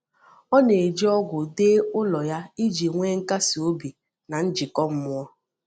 Ọ na-eji ogwù dee ụlọ ya iji nwee nkasi obi na njikọ mmụọ.